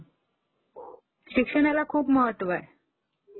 शिक्षणाला खूप महत्त्व आहे